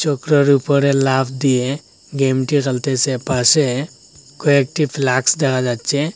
টুকরোর উপরে লাফ দিয়ে গেমটি চলতেসে পাশে কয়েকটি ফ্লাক্স দেখা যাচ্ছে।